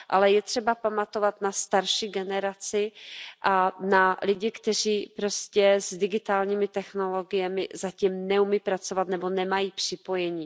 Ale je třeba pamatovat na starší generaci a na lidi, kteří s digitálními technologiemi zatím neumí pracovat nebo nemají připojení.